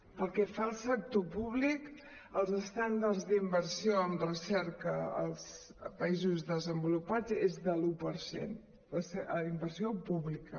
pel que fa al sector públic els estàndards d’inversió en recerca als països de·senvolupats són de l’un per cent d’inversió pública